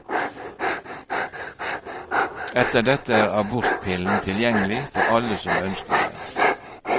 Etter dette er abortpillen tilgjengelig for alle som ønsker den.